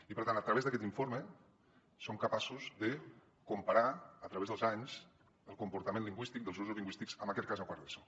i per tant a través d’aquest informe som capaços de comparar a través dels anys el comportament lingüístic dels usos lingüístics en aquest cas a quart d’eso